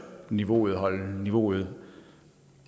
niveauet og holde niveauet